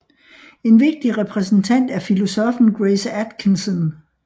En vigtig repræsentant er filosoffen Grace Atkinson